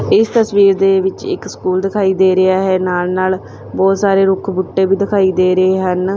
ਇਸ ਤਸਵੀਰ ਦੇ ਵਿਚ ਇੱਕ ਸਕੂਲ ਦਿਖਾਈ ਦੇ ਰਿਹਾ ਹੈ ਨਾਲ ਨਾਲ ਬਹੁਤ ਸਾਰੇ ਰੁੱਖ ਬੂਟੇ ਵੀ ਦਿਖਾਈ ਦੇ ਰਹੇ ਹਨ।